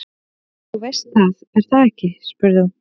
Þú veist það, er það ekki spurði hún.